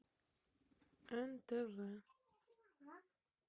нтв